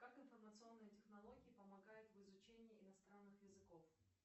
как информационные технологии помогают в изучении иностранных языков